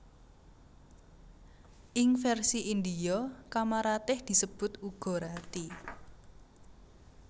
Ing versi Indhia Kamaratih disebut uga Rati